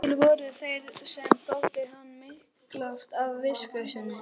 Til voru þeir sem þótti hann miklast af visku sinni.